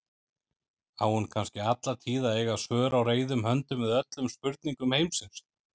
Á hún kannski alla tíð að eiga svör á reiðum höndum við öllum spurningum heimsins?